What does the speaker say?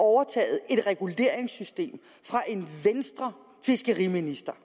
overtaget et reguleringssystem fra en fiskeriminister